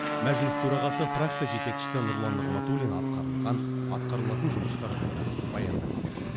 мәжіліс төрағасы фракция жетекшісі нұрлан нығматулин атқарылған атқарылатын жұмыстар жайлы баяндап берді